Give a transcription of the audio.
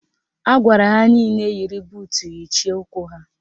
Agwara ha nile yiri buutu yichie ụkwụ ha